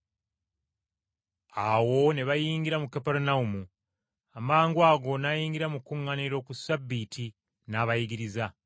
Awo ne bayingira mu Kaperunawumu. Amangwago n’ayingira mu kuŋŋaaniro ku Ssabbiiti, n’abayigiriza.